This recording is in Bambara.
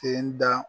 Ke n da